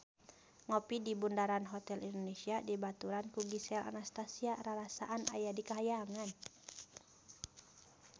Ngopi di Bundaran Hotel Indonesia dibaturan ku Gisel Anastasia rarasaan aya di kahyangan